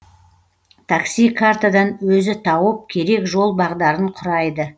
такси картадан өзі тауып керек жол бағдарын құрайды